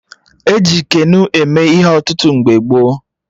E ji Keno eme ihe ọtụtụ mgbe gboo